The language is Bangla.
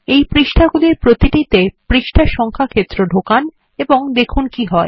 এই পৃষ্ঠাগুলির প্রতিটিতে পৃষ্ঠা ক্ষেত্র ঢোকান এবং দেখুন কি হয়